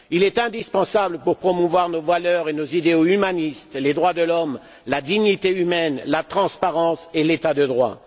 Il est indispensable pour promouvoir nos valeurs et nos idéaux humanistes, les droits de l'homme, la dignité humaine, la transparence et l'état de droit.